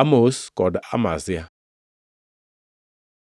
Amos kod Amazia